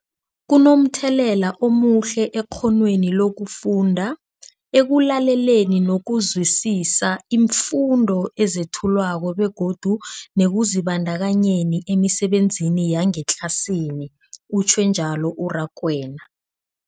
Kunomthelela omuhle ekghonweni lokufunda, ekulaleleni nokuzwisiswa iimfundo ezethulwako begodu nekuzibandakanyeni emisebenzini yangetlasini, utjhwe njalo u-Rakwena.